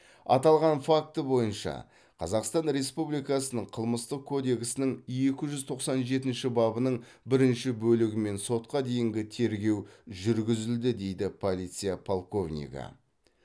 аталған факті бойынша қазақстан республикасының қылмыстық кодексінің екі жүз тоқсан жетінші бабының бірінші бөлігімен сотқа дейінгі тергеу жүргізілді дейді полиция полковнигі